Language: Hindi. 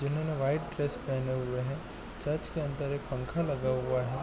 इन्होंने व्हाइट ड्रेस पहने हुए हैं चर्च के अंदर पंखा लगा हुआ है।